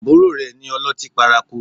Àbúrò rẹ ni ọlọ́tí paraku